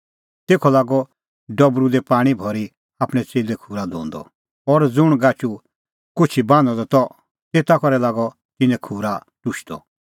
तेखअ लागअ डबरू दी पाणीं भरी आपणैं च़ेल्ले खूरा धोंदअ और ज़ुंण गाचू कुछी बान्हअ द त तेता करै लागअ तिन्नें खूरा टुशदअ